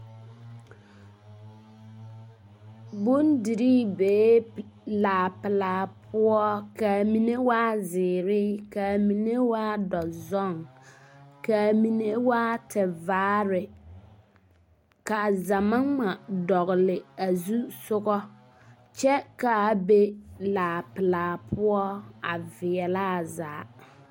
Bondirii bee laa pelaa poɔ, ka a mine waa zeere, ka a mine waa dɔzɔŋ, ka a mine waa tevaare, ka a zama ŋma dɔgle a zusoga kyɛ ka a be laa pelaa poɔ a veɛlɛ a zaa. 13410